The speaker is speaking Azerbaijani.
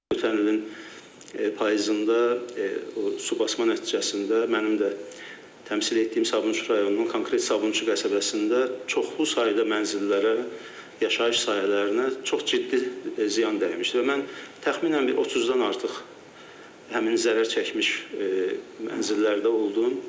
Ötən ilin payızında o su basma nəticəsində mənim də təmsil etdiyim Sabunçu rayonunun konkret Sabunçu qəsəbəsində çoxlu sayda mənzillərə, yaşayış sahələrinə çox ciddi ziyan dəymişdi və mən təxminən bir 30-dan artıq həmin zərər çəkmiş mənzillərdə oldum.